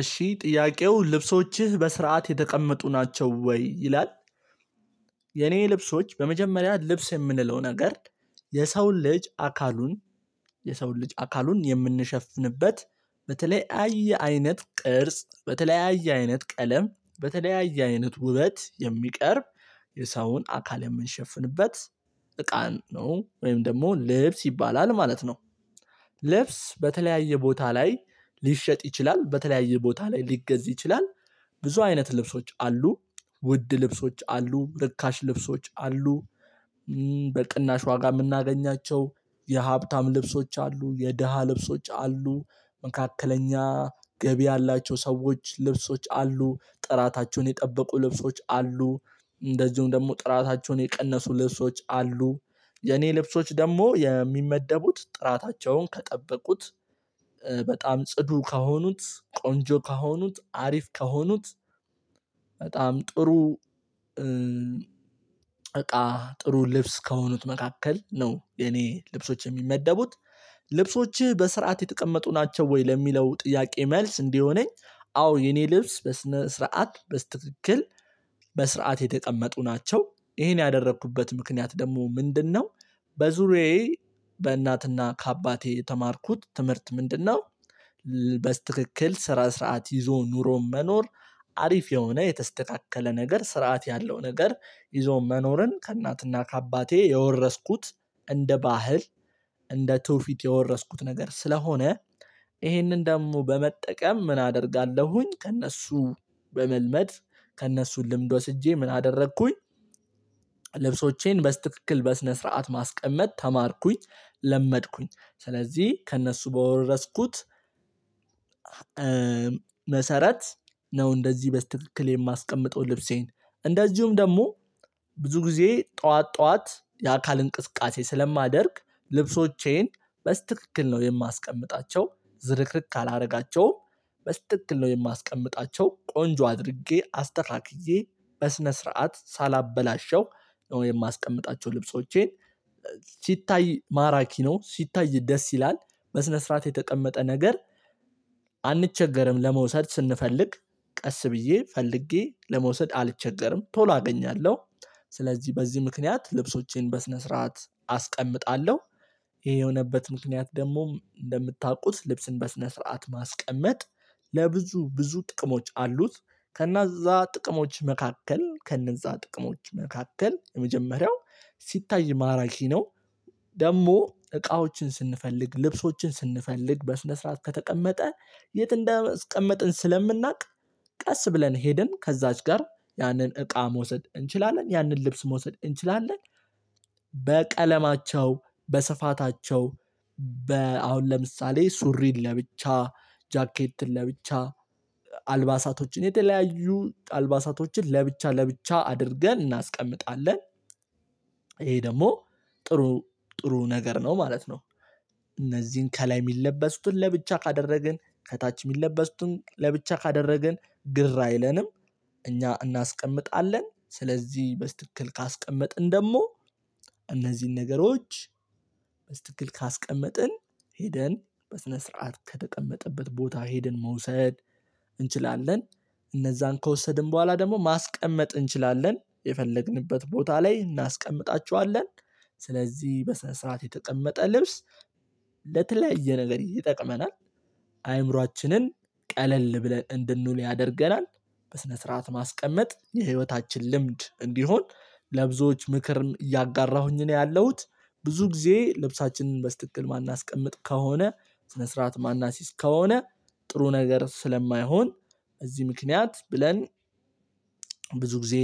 እሺ ጥያቄው ልብሶችህ በስርዓት የተቀመጡ ናቸው ወይ ይላል። የኔ ልብሶች በመጀመሪያ ልብስ የምንለው ነገር። የሰውን ልጅ አካሉን የሰውን ልጅ አካሉን የምንሸፍንበት በተለያየ አይነት ቅርጽ በተለያየ አይነት ቀለም በተለያየ አይነት ውበት የሚቀርብ የሳውን አካል የምንሸፍንበት እቃን ነው ወይም ደግሞ ልብስ ይባላል ማለት ነው። ልብስ በተለያየ ቦታ ላይ ሊሸጥ ይችላል በተለያየ ቦታ ላይ ሊገዝ ይችላል። ብዙ አይነት ልብሶች አሉ። ውድ ልብሶች አሉ እርካሽ ልብሶች አሉ። በቅናሽ ዋጋ የምናገኛቸው የሀብታም ልብሶች አሉ የደሃ ልብሶች አሉ። መካከለኛ ገቢ ያላቸው ሰዎች ልብሶች አሉ ጥራታቸውን የጠበቁ ልብሶች አሉ። እንደዚሁም ደግሞ ጥራታቸውን የቀነሱ ልብሶች አሉ። የኔ ልብሶች ደግሞ የሚመደቡት ጥራታቸውን ከጠበቁት በጣም ጽዱ ከሆኑት ቆንጆ ከሆኑት አሪፍ ከሆኑት በጣም ጥሩ። እቃ ጥሩ ልብስ ከሆኑት መካከል ነው። የኔ ልብሶች የሚመደቡት። ልብሶችህ በስርዓት የተቀመጡ ናቸው ወይ? ለሚለው ጥያቄ መልስ እንዲሆነኝ አዎ የኔ ልብስ በስነ ስርዓት በስትክክል በስርዓት የተቀመጡ ናቸው። ይሄን ያደረኩበት ምክንያት ደግሞ ምንድነው? በዙሪያዬ በእናትና ከአባቴ የተማርኩት ትምህርት ምንድነው? በስትክክል ስራ ስርዓት ይዞ ኑሮ መኖር። አሪፍ የሆነ የተስተካከለ ነገር ስርዓት ያለው ነገር ይዞ መኖርን ከእናትና ከአባቴ የወረስኩት። እንደ ባህል እንደ ትውፊት የወረስኩት ነገር ስለሆነ። ይሄንን ደግሞ በመጠቀም ምን አደርጋለሁኝ ከእነሱ በመልመድ ከእነሱ ልምድ ወስጄ ምን አደረኩኝ። ልብሶቼን በስትክክል በስነ ስርዓት ማስቀመጥ ተማርኩኝ። ለመድኩኝ ስለዚህ ከእነሱ በወረስኩት መሰረት ነው እንደዚህ በስትክክል የማስቀምጠው ልብሴን። እንደዚሁም ደግሞ ብዙ ጊዜ ጠዋት ጠዋት የአካል እንቅስቃሴ ስለማደርግ ልብሶቼን በስትክክል ነው የማስቀምጣቸው ዝርክርክ አላደርጋቸውም። በስትክክል ነው የማስቀምጣቸው ቆንጆ አድርጌ አስተካክዬ በስነ ስርዓት ሳላበላሸው ነው የማስቀምጣቸው ልብሶቼን። ሲታይ ማራኪ ነው ሲታይ ደስ ይላል። በስነ ስርዓት የተቀመጠ ነገር። አንቸገርም ለመውሰድ ስንፈልግ ቀስ ብዬ ፈልጌ ለመውሰድ አልቸገርም ቶሎ አገኛለሁ። ስለዚህ በዚህ ምክንያት ልብሶቼን በስነ ስርዓት አስቀምጣለሁ። ይሄ የሆነበት ምክንያት ደግሞ እንደምታውቁት ልብስን በስነ ስርዓት ማስቀመጥ። ለብዙ ብዙ ጥቅሞች አሉት። ከእነዛ ጥቅሞች መካከል ከእነዛ ጥቅሞች መካከል የመጀመሪያው ሲታይ ማራኪ ነው። ደግሞ እቃዎችን ስንፈልግ ልብሶችን ስንፈልግ በስነ ስርዓት ከተቀመጠ የት እንዳስቀመጥን ስለምናውቅ ቀስ ብለን ሄድን ከዛች ጋር ያንን እቃ መውሰድ እንችላለን ያንን ልብስ መውሰድ እንችላለን። በቀለማቸው በስፋታቸው በ አሁን ለምሳሌ ሱሪን ለብቻ ጃኬትን ለብቻ አልባሳቶችን የተለያዩ አልባሳቶችን ለብቻ ለብቻ አድርገን እናስቀምጣለን። ይሄ ደግሞ ጥሩ ጥሩ ነገር ነው ማለት ነው። እነዚህን ከላይ የሚለበስትን ለብቻ ካደረግን ከታች የሚለበሱትን ለብቻ ካደረግን ግር አይለንም። እኛ እናስቀምጣለን ስለዚህ በስተክል ካስቀመጥን ደግሞ እነዚህን ነገሮች በስትክክል ካስቀመጥን ሄደን በስነ ስርዓት ከተቀመጠበት ቦታ ሄደን መውሰድ እንችላለን። እነዛን ከወሰድን በኋላ ደግሞ ማስቀመጥ እንችላለን የፈለግንበት ቦታ ላይ እናስቀምጣችኋለን። ስለዚህ በስነ ስራት የተቀመጠ ልብስ ለተለያየ ነገር ይጠቅመናል። አይምሮአችንን ቀለል ብለን እንድንውል ያደርገናል። በስነ ስርዓት ማስቀመጥ የህይወታችን ልምድ እንዲሆን ለብዙዎች ምክር እያጋራሁኝ ነው ያለሁት። ብዙ ጊዜ ልብሳችንን በስትክክል ማናስቀምጥ ከሆነ ስነ ስርዓት ማናስይዝ ከሆነ ጥሩ ነገር ስለማይሆን። እዚህ ምክንያት ብለን ብዙ ጊዜ